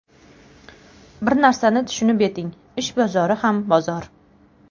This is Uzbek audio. Bir narsani tushunib yeting ish bozori ham bozor!